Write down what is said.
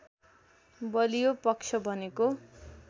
बलियो पक्ष भनेको